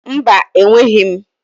Mba, enweghị m